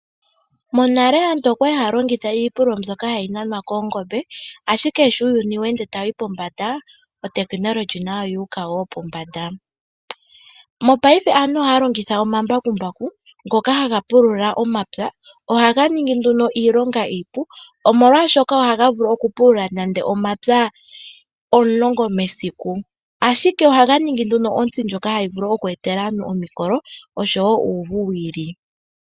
Monale aantu okwali haya longitha iipululo mbyoka hayi nanwa koongombe , ashike sho uuyuni weende tawu yi pombanda uutekinolohi nawo owuuka wo pombanda . Mopaife aantu ohaya longitha omambakumbaku ngoka haga pulula omapya , ohaga ningi nduno iilonga iipu omolwaashoka ohaga vulu okupulula omapya omulongo mesiku, ashike ohaga ohaga ningi ontsi ndjoka hayi vulu okweetela aantu omikolo oshowoo uuvu wiili.